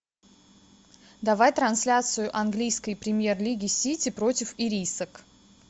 давай трансляцию английской премьер лиги сити против ирисок